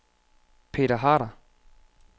Peter Harder